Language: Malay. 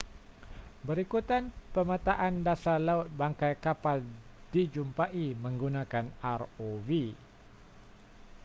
berikutan pemetaan dasar laut bangkai kapal dijumpai menggunakan rov